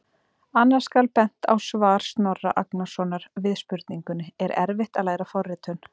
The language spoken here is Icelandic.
Annars skal bent á svar Snorra Agnarsson við spurningunni: Er erfitt að læra forritun?